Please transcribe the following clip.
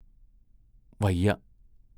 വയ്യ.